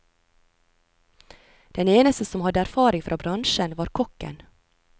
Den eneste som hadde erfaring fra bransjen, var kokken.